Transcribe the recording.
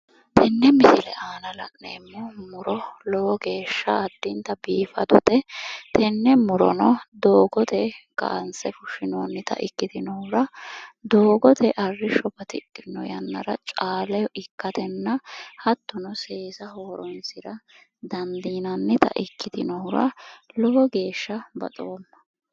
Tenne misile aana la'neemmo muro lowo geeshsha addinta biifadote. Tenne murono doogote kaanse fushshinoonnita ikkitinohura doogote arrishsho batidhinno yannara caaleho ikkatenna hattono seesaho horoonsira dandiinannita ikkitinohura lowo geeshsha baxoomma.